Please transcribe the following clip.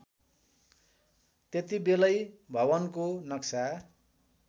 त्यतिबेलै भवनको नक्सा